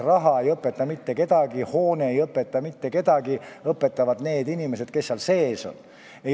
Raha ei õpeta mitte kedagi, hoone ei õpeta mitte kedagi – õpetavad need inimesed, kes seal sees on.